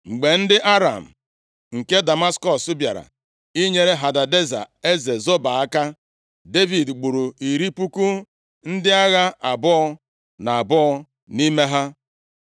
Mgbe ndị Aram nke Damaskọs bịara inyere Hadadeza eze Zoba aka, Devid gburu iri puku ndị agha abụọ na abụọ nʼime ha.